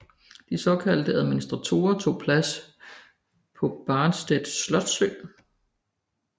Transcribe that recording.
De såkaldte administratorer tog plads på Barmstedt slotsø